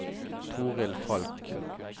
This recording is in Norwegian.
Torhild Falch